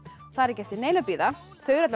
það er ekki eftir neinu að bíða þau eru